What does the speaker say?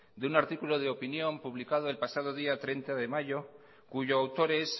de un artículo de opinión publicado el pasado día treinta de mayo cuyo autor es